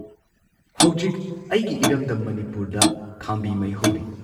ꯍꯧꯖꯤꯛ ꯑꯩꯒꯤ ꯏꯔꯝꯗꯝ ꯃꯅꯤꯄꯨꯔꯗ ꯈꯥꯝꯕꯤ ꯃꯩꯍꯧꯔꯤ ꯫